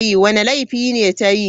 Wanda laifi ne ta yi?